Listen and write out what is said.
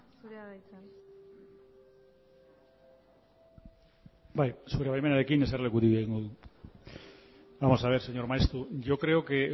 zurea da hitza bai zure baimenarekin jesarlekutik egingo dut vamos a ver señor maeztu yo creo que